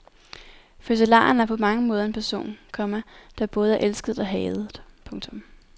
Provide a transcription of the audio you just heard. Fødselaren er på mange måder en person, komma der både er elsket og hadet. punktum